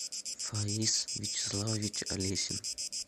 фаис вячеславович олесин